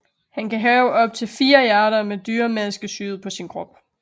Han kan have optil 4 hjerter med dyremaske syet på sin krop